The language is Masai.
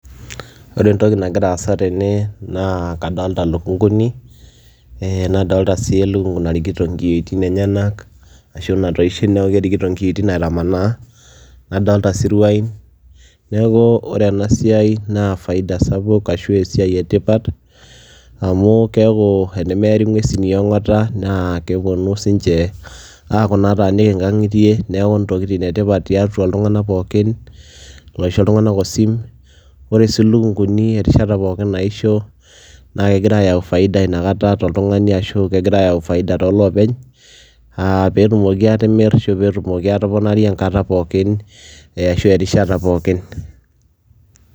Ore entoki nagira aasa tene naa kadolta lukung'uni ee nadolta sii elukung'u narikito nkiyioitin enyenak ashu natoishe neeku kerikito nkiitin aitamanaa, nadolta siruain. Neeku ore ena siai naa faida sapuk ashu esiai e tipat amu keeku enemeeri ng'uesin e ong'ata naa keponu siinche aaku naataaniki nkang'itie, neeku ntokitin e tipat tiatua iltung'anak pookin loisho iltung'anak osim. Ore sii lukung'uni erishata pookin naisho naake egira ayau faida inakata toltung'ani ashu kegira ayau faida too loopeny aa peetumoki aatimir ashu peetumoki aatoponari enkata pookin ashu erishata pookin.